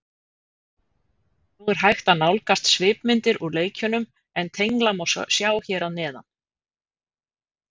Nú er hægt að nálgast svipmyndir úr leikjunum en tengla má sjá hér að neðan.